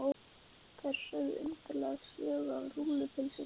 Þær sögðu undarlega sögu af rúllupylsunni.